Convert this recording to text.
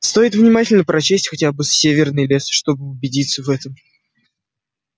стоит внимательно прочесть хотя бы северный лес чтобы убедиться в этом